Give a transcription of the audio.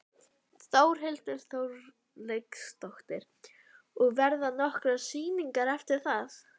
Þórhildur Þorkelsdóttir: Og verða nokkrar sýningar eftir það?